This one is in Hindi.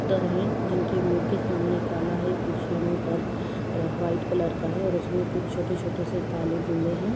कबूतर हैं जिनके मुँह के सामने काला हैं पीछे मुँह पर वाइट कलर हैं और उसमें कुछ छोटे-छोटे से काले बुँदे हैं।